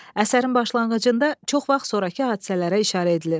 Əsərin başlanğıcında çox vaxt sonrakı hadisələrə işarə edilir.